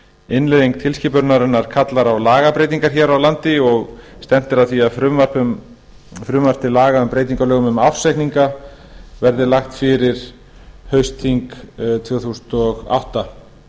innleiðing tilskipunarinnar kallar á lagabreytingar hér á landi stefnt er að því að frumvarp til laga um breytingu á lögum um ársreikninga verði lagt fyrir haustþing tvö þúsund og átta